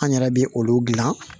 An yɛrɛ bɛ olu dilan